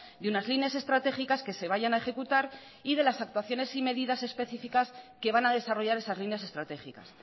de unas líneas estratégicas que se vayan a ejecutar y de las actuaciones y medidas específicas que van a desarrollar esas líneas estratégicas